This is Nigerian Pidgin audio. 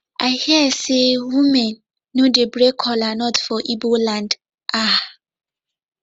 i hear say women no dey break kola nut for igbo land um